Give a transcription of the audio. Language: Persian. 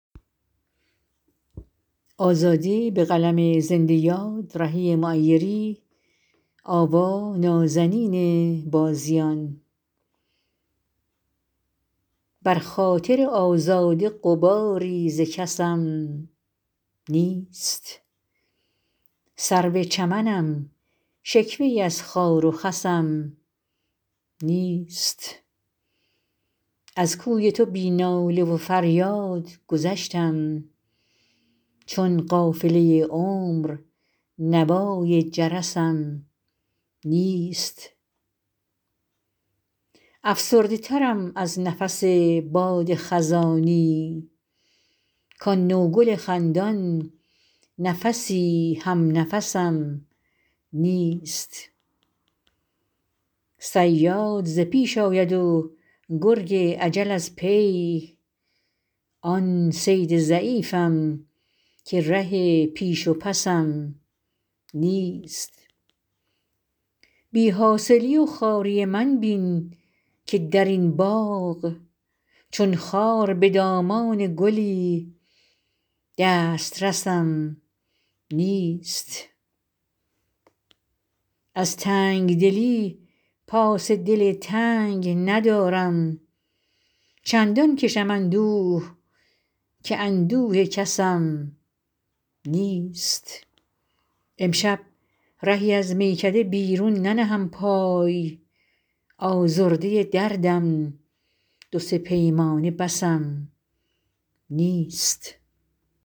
بر خاطر آزاده غباری ز کسم نیست سرو چمنم شکوه ای از خار و خسم نیست از کوی تو بی ناله و فریاد گذشتم چون قافله عمر نوای جرسم نیست افسرده ترم از نفس باد خزانی کآن نوگل خندان نفسی هم نفسم نیست صیاد ز پیش آید و گرگ اجل از پی آن صید ضعیفم که ره پیش و پسم نیست بی حاصلی و خواری من بین که در این باغ چون خار به دامان گلی دسترسم نیست از تنگدلی پاس دل تنگ ندارم چندان کشم اندوه که اندوه کسم نیست امشب رهی از میکده بیرون ننهم پای آزرده دردم دو سه پیمانه بسم نیست